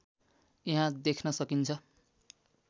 यहाँ देख्न सकिन्छ